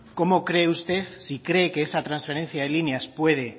cómo cree usted si cree que esa transferencia de líneas puede